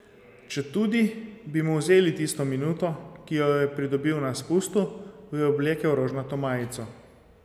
Četudi bi mu vzeli tisto minuto, ki jo je pridobil na spustu, bi oblekel rožnato majico.